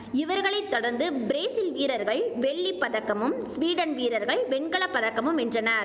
இவர்களை தொடர்ந்து பிரேசில் வீரர்கள் வெள்ளி பதக்கமும் சுவீடன் வீரர்கள் வெண்கல பதக்கமும் வென்றனர்